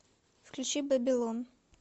включи бэби лон